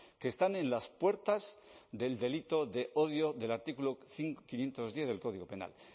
que están en las puertas del delito de odio del artículo quinientos diez del código penal